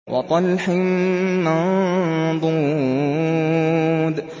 وَطَلْحٍ مَّنضُودٍ